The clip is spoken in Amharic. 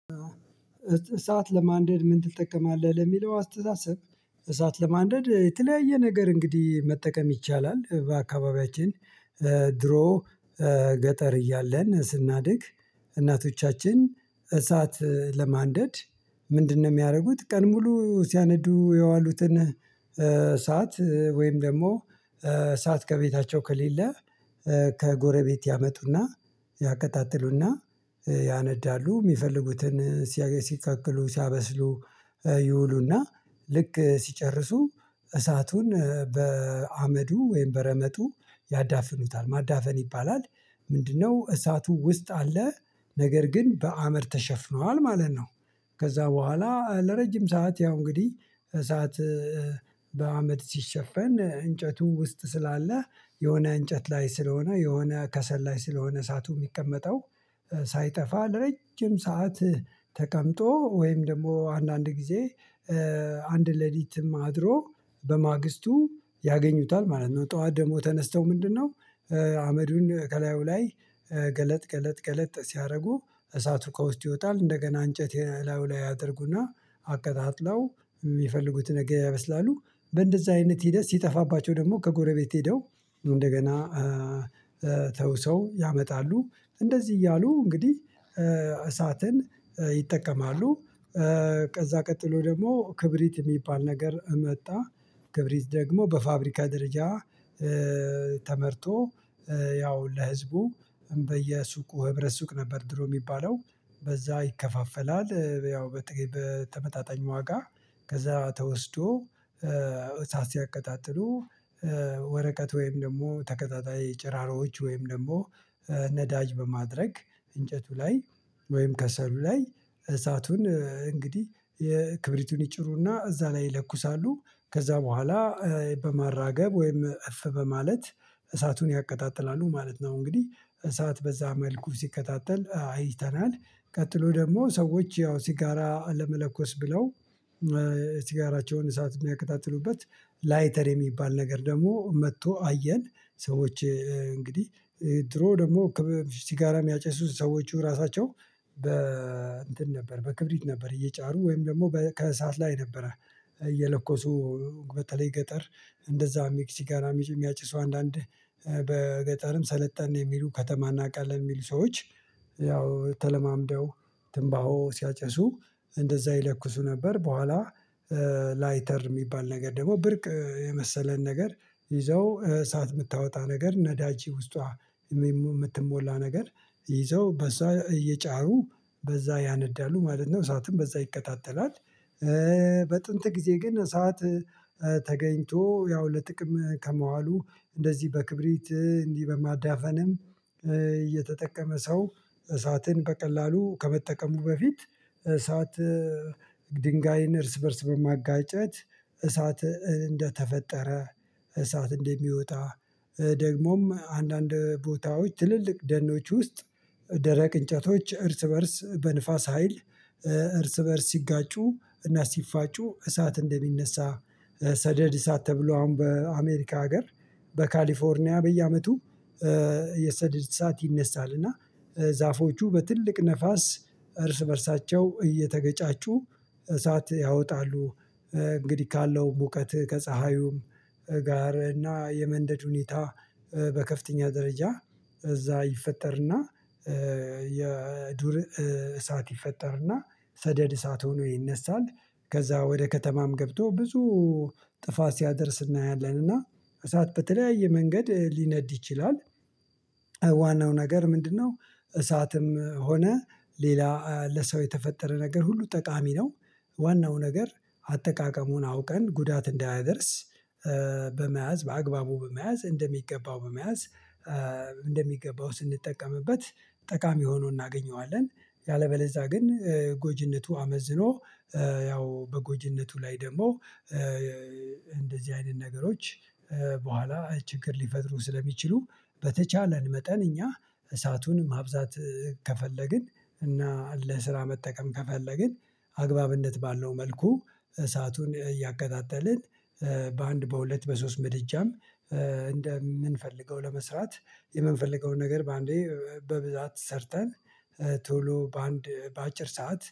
እሳት ለማንደድ ምን ትጠቀማለህ ለሚለው አስተሳሰብ? እሳት ለማንደድ የተለያየ ነገር እንግዲህ መጠቀም ይቻላል በአካባቢያችን። ድሮ ገጠር እያለን ስናድግ። እናቶቻችን እሳት ለማንደድ ምንድነው የሚያደርጉት? ቀን ሙሉ ሲያነዱ የዋሉትን ሳት ወይም ደግሞ ሳት ከቤታቸው ከሌለ ከጎረቤት ያመጡና ያቀጣጥሉና ያነዳሉ። የሚፈልጉትን ሲያገ ሲቀቅሉ ሲያበስሉ ይውሉና ልክ ሲጨርሱ እሳቱን በአመዱ ወይም በረመጡ ያዳፍኑታል ማዳፈን ይባላል። ምንድነው እሳቱ ውስጥ አለ ነገር ግን በአምድ ተሸፍኗል ማለት ነው። ከዛ በኋላ ለረጅም ሰዓት ያው እንግዲህ እሳት በአመድ ሲሸፈን እንጨቱ ውስጥ ስላለ የሆነ እንጨት ላይ ስለሆነ የሆነ ከሰል ላይ ስለሆነ እሳቱ የሚቀመጠው ሳይጠፋ ለረጅም ሰዓት። ተቀምጦ ወይም ደግሞ አንዳንድ ጊዜ አንድ ሌሊትም አድሮ በማግስቱ ያገኙታል ማለት ነው። ጠዋት ደግሞ ተነስተው ምንድነው አመዱን ከላዩ ላይ ገለጥ ገለጥ ገለጥ ሲያደርጉ እሳቱ ከውስጥ ይወጣል እንደገና እንጨት የ ላዩላይ ያደርጉና አቀጣጥለው የሚፈልጉትን ነገር ያበስላሉ። በእንደዛ አይነት ሂደት ሲጠፋባቸው ደግሞ ከጎረቤት ሄደው እንደገና ተውሰው ያመጣሉ እንደዚህ እያሉ እንግዲህ እሳትን ይጠቀማሉ። ከዛ ቀጥሎ ደግሞ ክብሪት የሚባል ነገር መጣ። ክብሪት ደግሞ በፋብሪካ ደረጃ ተመርቶ ያው ለህዝቡ በየሱቁ ህብረት ሱቅ ነበር ድሮ የሚባለው በዛ ይከፋፈላል ያው በተመጣጣኝ ዋጋ። ከዛ ተወስዶ እሳት ሲያቀጣጥሉ ወረቀት ወይም ደግሞ ተቀጣጣይ ጭራሮዎች ወይም ደግሞ ነዳጅ በማድረግ እንጨቱ ላይ ወይም ከሰሉ ላይ እሳቱን እንግዲህ የክብሪቱን ይጭሩና እዛ ላይ ይለኩሳሉ ከዛ በኋላ በማራገብ ወይም እፍ በማለት እሳቱን ያቀጣጥላሉ ማለት ነው። እንግዲህ እሳት በዛ መልኩ ሲቀጣጠል አይተናል። ቀጥሎ ደግሞ ሰዎች ያው ሲጋራ ለመለኮስ ብለው ሲጋራቸውን እሳት የሚያቀጣጥሉበት ላይተር የሚባል ነገር ደግሞ መጥቶ አየን። ሰዎች እንግዲህ ድሮ ደግሞ ከበፊ ሲጋራ የሚያጨሱት ሰዎቹ ራሳቸው በ እንትን ነበር በክብሪት ነበር እየጫሩ ወይም ደግሞ በ ከእሳት ላይ ነበረ። እየለኮሱ በተለይ ገጠር እንደዛም ሲጋራም ሚየሚያጬሱ አንዳንድ በገጠርም ሰለጠን የሚሉ ከተማ እናውቃለን የሚሉ ሰዎች ያው ተለማምደው ትንባሆ ሲያጨሱ እንደዛ ይለኩሱ ነበር በኋላ። ላይተር የሚባል ነገር ደግሞ ብርቅ የመሰለን ነገር ይዘው እሳት የምታወጣ ነገር ነዳጅ ውስጧ የምትሞላ ነገር ይዘው በዛ እየጫሩ በዛ ያነዳሉ ማለት ነው እሳቱም በዛ ይቀጣጠላል። በጥንት ጊዜ ግን እሳት ተገኝቶ ያው ለጥቅም ከመዋሉ እንደዚህ በክብሪት እንዲህ በማዳፈንም እየተጠቀመ ሰው እሳትን በቀላሉ ከመጠቀሙ በፊት። እሳት ድንጋይን እርስ በእርስ በማጋጨት እሳት እንደተፈጠረ እሳት እንደሚወጣ። ደግሞም አንዳንድ ቦታዎች ትልልቅ ደኖች ውስጥ ደረቅ እንጨቶች እርስ በእርስ በንፋስ ሀይል እርስ በእርስ ሲጋጩ እና ሲፋጩ እሳት እንደሚነሳ። ሰደድ እሳት ተብሎ አሁን በአሜሪካ ሀገር በካሊፎርኒያ በየአመቱ የሰደድ እሳት ይነሳል። እና ዛፎቹ በትልቅ ንፋስ እርስ በእርሳቸው እየተገጫጩ እሳት ያወጣሉ። እንግዲህ ካለው ሙቀት ከፀሀዩም ጋር እና የመንደድ ሁኔታ በከፍተኛ ደረጃ እዛ ይፈጠርና የዱር እሳት ይፈጠርና ሰደድ እሳት ሆኖ ይነሳል። ከዛ ወደ ከተማም ገብቶ ብዙ ጥፋት ሲያደርስ እናያለንና እሳት በተለያየ መንገድ ሊነድ ይችላል። ዋናው ነገር ምንድነው? እሳትም ሆነ ሌላ ለሰው የተፈጠረ ነገር ሁሉ ጠቃሚ ነው። ዋናው ነገር አጠቃቀሙን አውቀን ጉዳት እንዳያደርስ በመያዝ በአግባቡ በመያዝ እንደሚገባው በመያዝ እንደሚገባው ስንጠቀምበት። ጠቃሚ ሆኖ እናገኘዋለን። ያለበለዛ ግን ጎጂነቱ አመዝኖ ያው በጎጅነቱ ላይ ደግሞ እንደዚህ አይነት ነገሮች በኋላ ችግር ሊፈጥሩ ስለሚችሉ። በተቻለን መጠን እኛ እሳቱን ማብዛት ከፈለግን እና ለስራ መጠቀም ከፈለግን አግባብነት ባለው መልኩ እሳቱን እያቀጣጠልን በአንድ በሁለት በሶስት ምድጃም እንደምንፈልገው ለመስራት የምንፈልገውን ነገር በአንዴ በብዛት ሰርተን ቶሎ በአንድ በአጭር ሰዓት